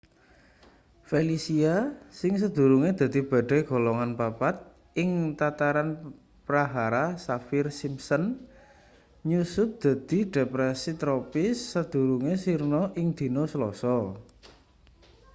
felicia sing sadurunge dadi badai golongan 4 ing tataran prahara saffir-simpson nyusut dadi depresi tropis sadurunge sirna ing dina selasa